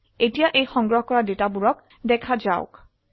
এতিয়া এই সংগ্ৰহ কৰা ডেটা বোৰক দেখা যাওক